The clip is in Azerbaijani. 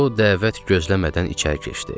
O, dəvət gözləmədən içəri keçdi.